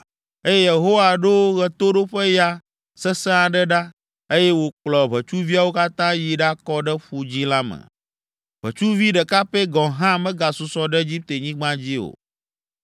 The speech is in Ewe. eye Yehowa ɖo ɣetoɖoƒeya sesẽ aɖe ɖa, eye wòkplɔ ʋetsuviawo katã yi ɖakɔ ɖe Ƒu Dzĩ la me. Ʋetsuvi ɖeka pɛ gɔ̃ hã megasusɔ ɖe Egiptenyigba dzi o!